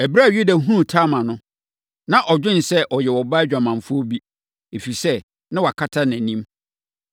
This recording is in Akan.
Ɛberɛ a Yuda hunuu Tamar no, na ɔdwene sɛ ɔyɛ ɔbaa dwamanfoɔ bi, ɛfiri sɛ, na wakata nʼanim.